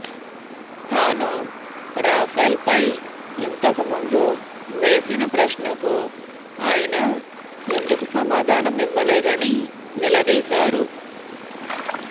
తాను రాఫెల్పై ఇంతకు ముందు వేసిన ప్రశ్నకు ఆయన ఎందుకు సమాధానం ఇవ్వలేదని నిలదీశారు